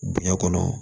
Diɲɛ kɔnɔ